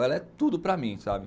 Ela é tudo para mim, sabe?